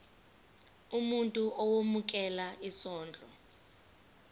umuntu owemukela isondlo